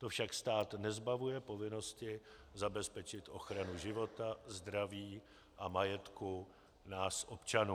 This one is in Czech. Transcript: To však stát nezbavuje povinnosti zabezpečit ochranu života, zdraví a majetku nás občanů.